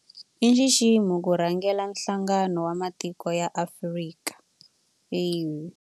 I nxiximo ku rhangela Nhlangano wa Matiko ya Afrika AU.